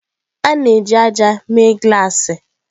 A na-eji ájá mee glassi.